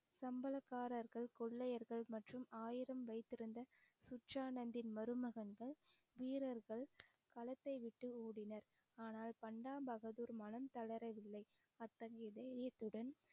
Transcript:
சம்பளக்காரர்கள் கொள்ளையர்கள் மற்றும் ஆயுதம் வைத்திருந்த மருமகன்கள் வீரர்கள் களத்தை விட்டு ஓடினர் ஆனால் பண்டா பகதூர் மனம் தளரவில்லை அத்தகைய இதயத்துடன்